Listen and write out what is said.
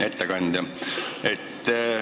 Hea ettekandja!